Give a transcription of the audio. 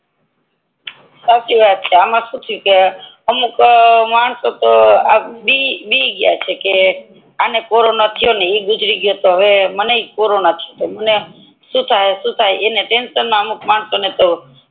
સાચી વાત છે આમાં શહૂ થયું કે માણસો તો બી બી ગ્યા છે કે આને કોરોના થયો આ ગુજારી ગયો હવે મને કોરોના થસે તો શું થી સુ થી એના ટેન્સન મા અમુક માણસો તો